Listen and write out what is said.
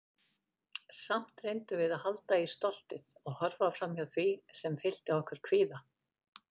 Samt reyndum við að halda í stoltið- og horfa framhjá því sem fyllti okkur kvíða.